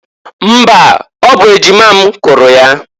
Mba! Ọ bụ ejima m kụrụ ya.